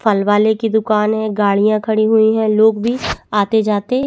फल वाले की दुकान है गाड़िया खड़ी हुई है लोग भी आते जाते--